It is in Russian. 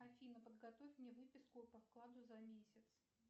афина подготовь мне выписку по вкладу за месяц